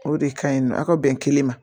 O de kaɲi nɔ a ka bɛn kelen ma